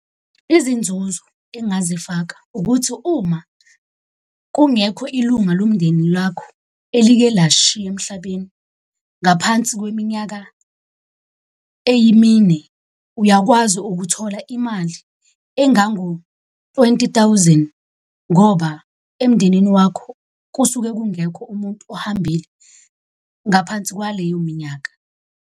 Izinzuzo engingazifaka ukuthi uma kungekho ilunga lomndeni lwakho elike lashiya emhlabeni ngaphansi kweminyaka eyimine, uyakwazi ukuthola imali engango-twenty thousand. Ngoba emndenini wakho kusuke kungekho umuntu ohambile ngaphansi kwaleyo minyaka.